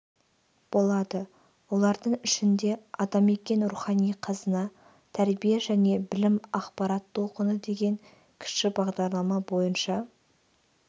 болады олардың ішінде атамекен рухани қазына тәрбие және білім ақпарат толқыны деген кіші бағдарлама бойынша